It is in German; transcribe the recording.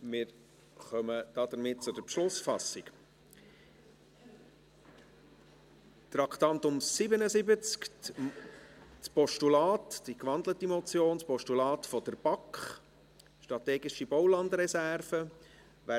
Damit kommen wir zur Beschlussfassung über Traktandum 77, das Postulat der BaK, die gewandelte Motion «Strategische Baulandreserven» .